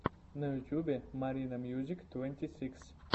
на ютубе маринамьюзиктвэнтисикс